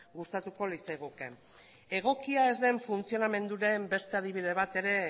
gustatuko litzaiguke egokia ez den funtzionamenduaren beste adibide bat ere